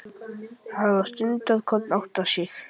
Hann var stundarkorn að átta sig.